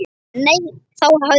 Nei, þá hafði Jón